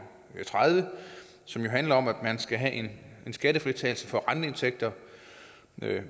tredive som jo handler om at man skal have skattefritagelse for renteindtægter